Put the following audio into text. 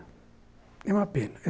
É uma pena.